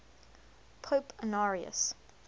pope honorius